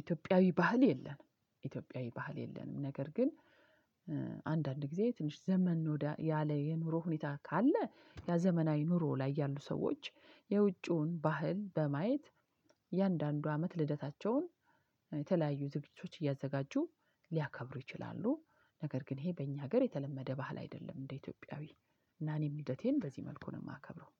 ኢትዮጵያዊ ባህል የለንም። ኢትዮጵያዊ ባህል የለንም። ነገር ግን አንዳንድ ጊዜ ትንሽ ዘመን ያለ የኑሮ ሁኔታ ካለ ያ ዘመናዊ ኑሮ ላይ ያሉ ሰዎች። የውጪውን ባህል በማየት የእያንዳንዱ አመት ልደታቸውን የተለያዩ ዝግጅቶች እያዘጋጁ ሊያከብሩ ይችላሉ። ነገር ግን ይሄ በእኛ ሀገር የተለመደ ባህል አይደለም። እንደ ኢትዮጵያዊ እና እኔ ልደቴን በዚህ መልኩ ነው የማከብረው።